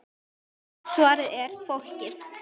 Svarið er: Fólkið.